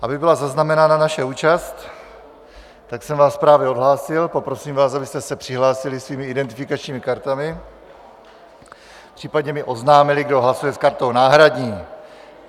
Aby byla zaznamenána naše účast, tak jsem vás právě odhlásil a poprosím vás, abyste se přihlásili svými identifikačními kartami, případně mi oznámili, kdo hlasuje s kartou náhradní.